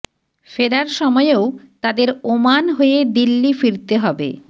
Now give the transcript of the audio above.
ফেরার সময়েও তাঁদের ওমান হয়ে দিল্লি ফিরতে হবে